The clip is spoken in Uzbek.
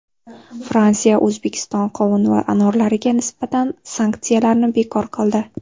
Fransiya O‘zbekiston qovun va anorlariga nisbatan sanksiyalarni bekor qildi.